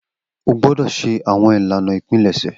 O gbọdọ ṣe awọn ilana ipilẹsẹ!